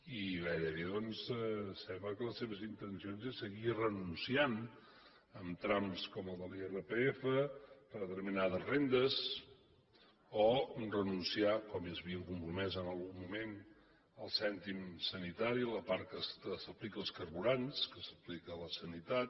i gairebé doncs sembla que les seves intencions són seguir renunciant en trams com el de l’irpf a determinades rendes o renunciar com s’hi havien compromès en algun moment al cèntim sanitari la part que s’aplica als carburants que s’aplica a la sanitat